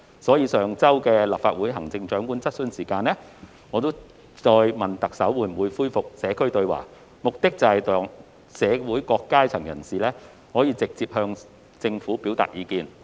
因此，在上周的立法會行政長官質詢時間，我再次問特首會否恢復社區對話，目的是讓社會各階層人士可直接向政府表達意見。